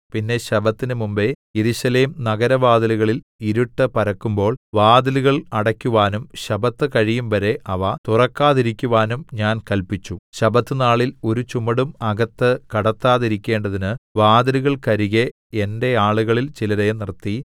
പിന്നെ ശബ്ബത്തിന് മുമ്പെ യെരൂശലേം നഗരവാതിലുകളിൽ ഇരുട്ട് പരക്കുമ്പോൾ വാതിലുകൾ അടയ്ക്കുവാനും ശബ്ബത്ത് കഴിയുംവരെ അവ തുറക്കാതിരിക്കുവാനും ഞാൻ കല്പിച്ചു ശബ്ബത്തുനാളിൽ ഒരു ചുമടും അകത്ത് കടത്താതിരിക്കേണ്ടതിന് വാതിലുകൾക്കരികെ എന്റെ ആളുകളിൽ ചിലരെ നിർത്തി